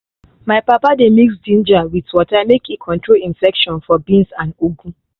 my papa dey mix ginger with water make e control infection for beans and ugu.